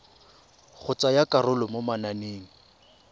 go tsaya karolo mo mananeng